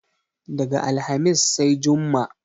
Daga alhamis sai jumma